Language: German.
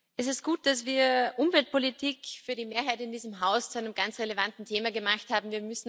Es ist gut, dass wir Umweltpolitik für die Mehrheit in diesem Haus zu einem ganz relevanten Thema gemacht haben.